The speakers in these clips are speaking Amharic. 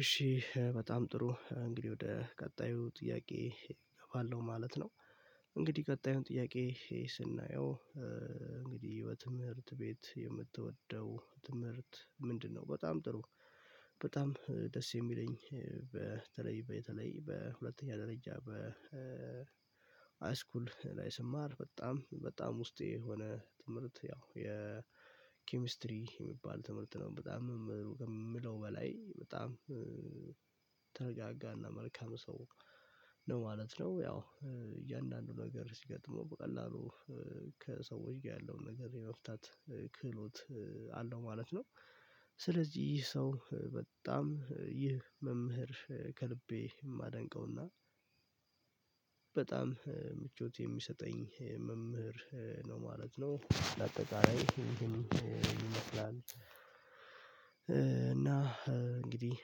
እሺ በጣም ጥሩ እንግዲህ ወደ ቀጣዩ ጥያቄ እገባለሁ ማለት ነው። እንግዲህ ቀጣዩ ጥያቄ ይሄ ስናየው እንግዲህ በትምህርት ቤት የምትወደው ትምህርት ምንድነው? በጣም ጥሩ በጣም ደስ የሚለኝ። በተለይ በተለይ በሁለተኛ ደረጃ በሃይስኩል ላይ ስማር በጣም በጣም ውስጤ የሆነ ትምህርት ያው የኬሚስትሪ የሚባል ትምህርት ነው በጣም ከምለው በላይ በጣም ተረጋጋና መልካም ሰው ነው ማለት ነው። ያው እያንዳንዱ ነገር ሲገጥመው በቀላሉ ከሰዎች ጋር ያለውን ነገር የመፍታት ክህሎት አለው ማለት ነው። ስለዚህ ይህ ሰው በጣም ይህ መምህር ከልቤ የማደንቀውና በጣም ምቾት የሚሰጠኝ መምህር ነው ማለት ነው። ለአጠቃላይ ይመስላል እና እንግዲህ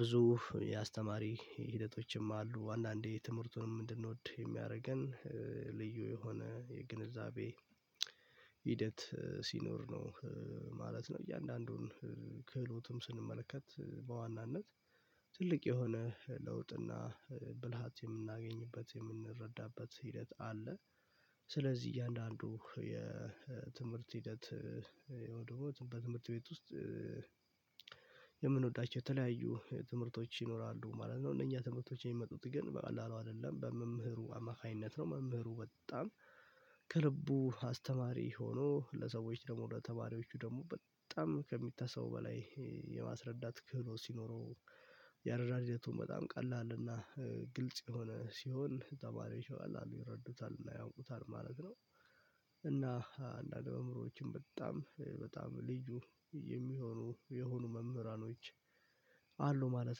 ብዙ የአስተማሪ ሂደቶችም አሉ አንዳንዴ ትምህርቱንም እንድንወድ የሚያደርገን ልዩ የሆነ የግንዛቤ ሂደት ሲኖር ነው ማለት ነው። እያንዳንዱን ክህሎትም ስንመለከት በዋናነት ትልቅ የሆነ ለውጥ እና ብልሃት የምናገኝበት የምንረዳበት ሂደት አለ። ስለዚህ እያንዳንዱ የትምህርት ሂደት ወይም ደግሞ በትምህርት ቤት ውስጥ የምንወዳቸው የተለያዩ ትምህርቶች ይኖራሉ ማለት ነው። እነኛ ትምህርቶች የሚመጡት ግን በቀላሉ አይደለም በመምህሩ አማካኝነት ነው መምህሩ በጣም ከልቡ አስተማሪ ሆኖ ለሰዎች ደግሞ ለተማሪዎቹ ደግሞ በጣም ከሚታሰበው በላይ የማስረዳት ክህሎት ሲኖረው የአረዳድ ህደቱ በጣም ቀላል እና ግልጽ የሆነ ሲሆን ተማሪዎች በቀላሉ ይረዱታል ያውቁታል ማለት ነው። እና እንደ አንዳንድ መምህሮችም በጣም በጣም ልዩ የሚሆኑ የሆኑ መምህራኖች አሉ ማለት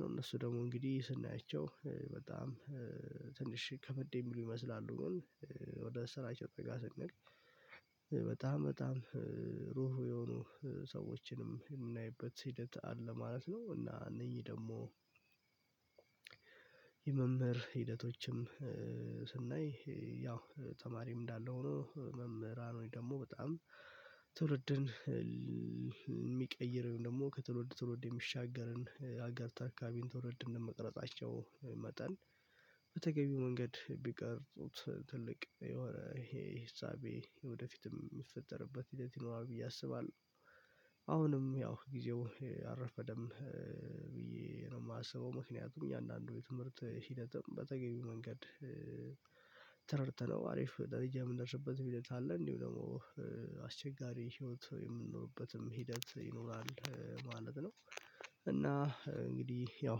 ነው። እነሱ ደግሞ እንግዲህ ስናያቸው በጣም ትንሽ ከበድ የሚሉ ይመስላሉ ግን ወደ ስራ ጭብጥ ጋር ስንሄድ በጣም በጣም ሩህሩህ የሆኑ ሰዎችንም የምናይበት ሂደት አለ ማለት ነው። እና እነዚህ ደግሞ የመምህር ሂደቶችም ስናይ ያው ተማሪም እንዳለ ሆኖ መምህራን ወይ ደግሞ በጣም ትውልድን የሚቀይር ወይም ደግሞ ከትውልድ ትውልድ የሚሻገርን ሀገር ተረካቢን ትውልድ እንደመቅረጻቸው መጠን በተገቢው መንገድ ቢቀርፁት ትልቅ የሆነ ይሄ ሂሳቤ ወደፊትም የሚፈጠርበት ሂደት ይኖራል ብዬ አስባለሁ። አሁንም ያው ጊዜው አልረፈደም ብዬ ነው የማስበው ምክንያቱም እኛ እያንዳንዱ የትምህርት ሂደትም በተገኘው መንገድ ተረድተነው አሪፍ ደረጃ የምንደርስበት ሂደት አለ እንዲሁ ደግሞ አስቸጋሪ ህይወት የምንኖርበትም ሂደት ይኖራል ማለት ነው። እና እንግዲህ ያው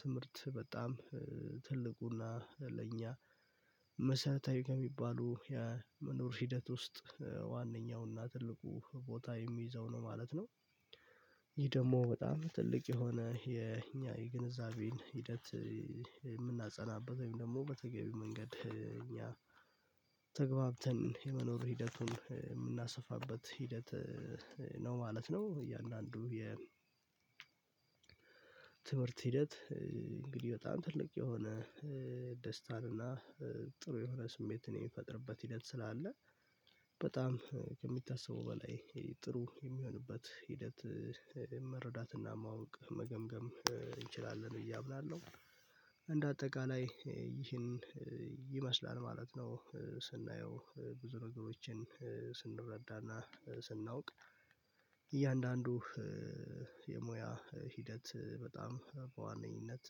ትምህርት በጣም ትልቁና ለእኛ መሰረታዊ ከሚባሉ የመኖር ሂደት ውስጥ ዋነኛውና ትልቁን ቦታ የሚይዘው ነው ማለት ነው። ይሄ ደግሞ በጣም ትልቅ የሆነ የኛ የግንዛቤን ሂደት የምናጸናበት ወይም ደግሞ በተገቢው መንገድ እኛ ተግባብተን የመኖር ሂደቱን የምናሰፋበት ሂደት ነው ማለት ነው። እያንዳንዱ የ ትምህርት ሂደት እንግዲህ በጣም ትልቅ የሆነ ደስታን እና ጥሩ የሆነ ስሜት የሚፈጥርበት ሂደት ስላለ በጣም ከሚታስበው በላይ ጥሩ የሚሆንበት ሂደት መረዳትና ማወቅ መገምገም እንችላለን ብዬ አምናለሁ። አጠቃላይ ይህን ይመስላል ማለት ነው ስናየው ብዙ ነገሮችን ስንረዳና ስናውቅ እያንዳንዱ የሙያ ሂደት በጣም በዋነኝነት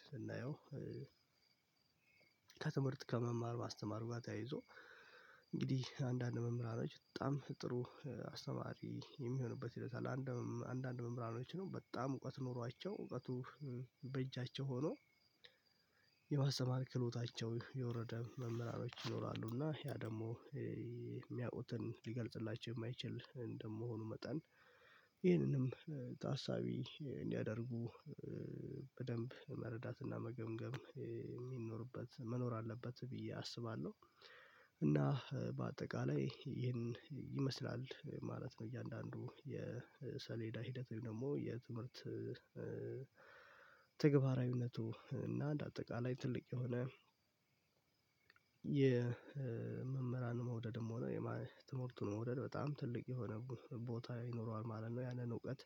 ስናየው ከትምህርት ከመማር ማስተማር ጋር ተያይዞ እንግዲህ አንዳንድ መምህራኖች በጣም ጥሩ አስተማሪ የሚሆንበት ሂደት አለ። አንዳንድ መምህራኖች ነው በጣም እውቀት ኖሯቸው እውቀቱ በእጃቸው ሆኖ የማስተማር ክህሎታቸው የወረደ መምህራኖች ይኖራሉ እና ያ ደግሞ የሚያውቁትን ሊገልጽላቸው የማይችል እንደመሆኑ መጠን ይህንንም ታሳቢ እንዲያደርጉ በደንብ መረዳትና መገምገም የሚኖርበት መኖር አለበት ብዬ አስባለሁ። እና በአጠቃላይ ይሄን ይመስላል ማለት ነው እያንዳንዱ የሰሌዳ ሂደት ወይም ደግሞ የትምህርት ተግባራዊነቱ እና እንደ አጠቃላይ ትልቅ የሆነ የመምህራን መውደድም ሆነ የማይ ትምህርቱን መውደድ በጣም ትልቅ የሆነ ቦታ ይኖረዋል ማለት ነው። ያለን እውቀት